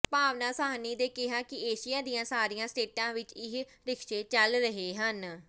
ਭਾਵਨਾ ਸਾਹਨੀ ਨੇ ਕਿਹਾ ਕਿ ਏਸ਼ੀਆ ਦੀਆਂ ਸਾਰੀਆਂ ਸਟੇਟਾਂ ਵਿੱਚ ਇਹ ਰਿਕਸ਼ੇ ਚੱਲ ਰਹੇ ਹਨ